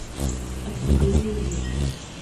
от судьбы не уйдешь